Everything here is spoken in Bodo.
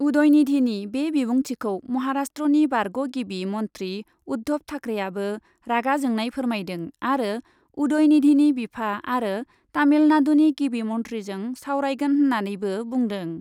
उदयनिधिनि बे बिबुंथिखौ महारास्ट्रनि बारग' गिबि मन्ध्रि उद्धब थाख्रेआबो रागा जोंनाय फोरमायदों आरो उदयनिधिनि बिफा आरो तामिलनाडुनि गिबि मन्थ्रिजों सावरायगोन होन्नानैबो बुंदों।